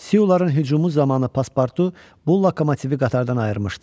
Siyuların hücumu zamanı pasportu bu lokomotivi qatardan ayırmışdı.